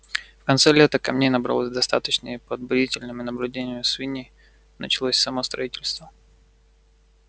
в конце лета камней набралось достаточно и под бдительным наблюдением свиней началось само строительство